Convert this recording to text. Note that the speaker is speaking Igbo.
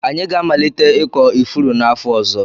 Anyị ga-amalite ịkọ ifuru n'afọ ọzọ.